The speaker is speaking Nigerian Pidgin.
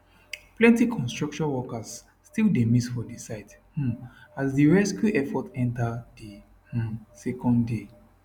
plenti construction workers still dey miss for di site um as di rescue effort enta di um second day